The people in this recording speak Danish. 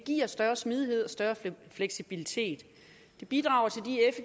giver større smidighed og større fleksibilitet det bidrager